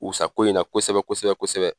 O sa ko in na kosɛbɛ kosɛbɛ kosɛbɛ